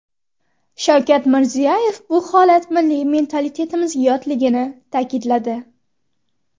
Shavkat Mirziyoyev bu holat milliy mentalitetimizga yotligini ta’kidladi.